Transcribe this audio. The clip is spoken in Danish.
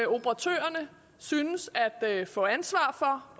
operatørerne synes at få ansvar for